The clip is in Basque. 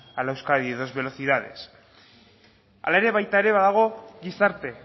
a la euskadi dos velocidades hala ere baita ere badago gizarte